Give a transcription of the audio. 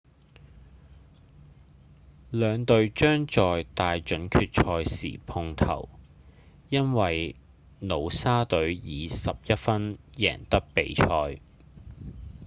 兩隊將在大準決賽時碰頭因為努沙隊以11分贏得比賽